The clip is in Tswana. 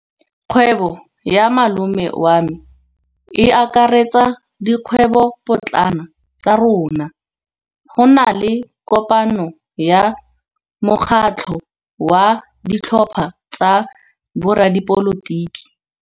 Kgwêbô ya malome wa me e akaretsa dikgwêbôpotlana tsa rona. Go na le kopanô ya mokgatlhô wa ditlhopha tsa boradipolotiki.